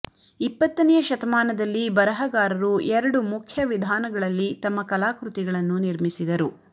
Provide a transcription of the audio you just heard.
ಇಪ್ಪತ್ತನೆಯ ಶತಮಾನದಲ್ಲಿ ಬರಹಗಾರರು ಎರಡು ಮುಖ್ಯ ವಿಧಾನಗಳಲ್ಲಿ ತಮ್ಮ ಕಲಾಕೃತಿಗಳನ್ನು ನಿರ್ಮಿಸಿದರು